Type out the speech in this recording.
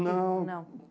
Não. Não